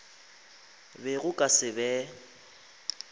be go ka se be